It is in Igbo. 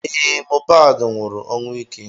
Ee, Mohbad nwụrụ ọnwụ ike